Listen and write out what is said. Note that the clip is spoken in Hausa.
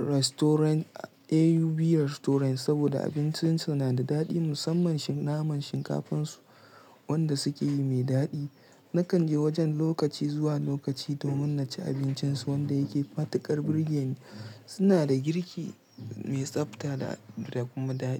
restaurant AUB Restaurant saboda abincinsu na da daɗi musamman naman shinkafansu wanda suke yi mai daɗi. Nakan je wajen lokaci zuwa lokaci domin na ci abincinsu wanda yake matuƙar burge ni. Su na da girki mai tsafta da kuma daɗi.